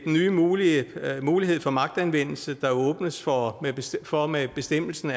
nye mulighed mulighed for magtanvendelse der åbnes for for med bestemmelsen